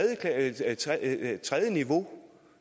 niveau